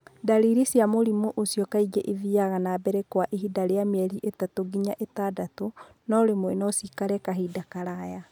Ndariri cia mũrimũ ũcio kaingĩ ithiaga na mbere kwa ihinda rĩa mĩeri ĩthatũ nginya ĩtandatũ, no rĩmwe no ciĩkare kahinda karaya.